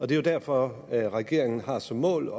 det er jo derfor regeringen har som mål